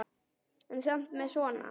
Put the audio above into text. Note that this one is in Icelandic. En samt með svona.